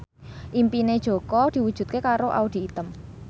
impine Jaka diwujudke karo Audy Item